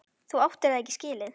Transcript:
Þú áttir það ekki skilið.